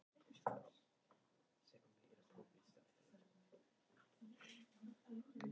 Aðstæður voru hins vegar erfiðar.